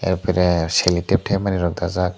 airpore cellotep tepanani rok takjak.